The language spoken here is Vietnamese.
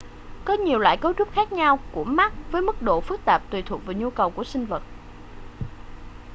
có nhiều loại cấu trúc khác nhau của mắt với mức độ phức tạp tùy thuộc vào nhu cầu của sinh vật